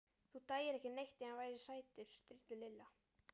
Þú dæir ekki neitt ef hann væri sætur. stríddi Lilla.